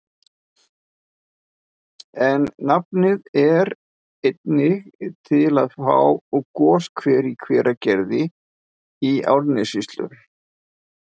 En nafnið er einnig til á goshver í Hveragerði í Árnessýslu.